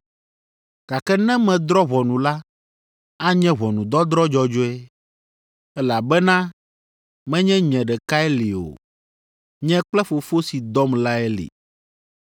Gake ne medrɔ̃ ʋɔnu la, anye ʋɔnudɔdrɔ̃ dzɔdzɔe, elabena menye nye ɖekae li o. Nye kple Fofo si dɔm lae li.